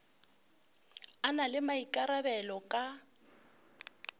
a na le maikarabelo ka